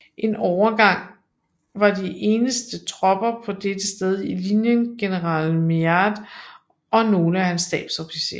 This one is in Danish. En overgang var de eneste tropper på dette sted i linjen general Meade og nogle af hans stabsofficerer